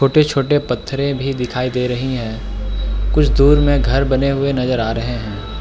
छोटे-छोटे पत्थरे भी दिखाई दे रही है कुछ दूर में घर बने हुए नजर आ रहे हैं।